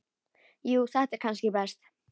Jú þetta er kannski best.